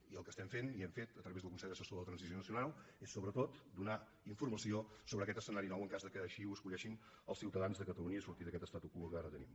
i el que estem fent i hem fet a través del consell assessor per a la transició nacional és sobretot donar informació sobre aquest escenari nou en cas que així ho escullin els ciutadans de catalunya i es surti d’aquest statu quo que ara tenim